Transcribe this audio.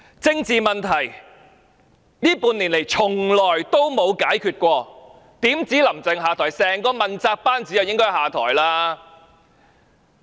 政治問題這半年來從未曾解決，豈止"林鄭"要下台，整個問責班子也應該下台。